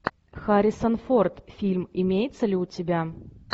харрисон форд фильм имеется ли у тебя